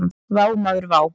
Vá maður vá!